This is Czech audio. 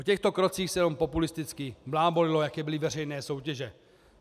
O těchto krocích se jenom populisticky blábolilo, jaké byly veřejné soutěže.